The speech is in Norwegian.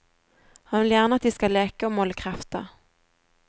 Han vil gjerne at de skal leke og måle krefter.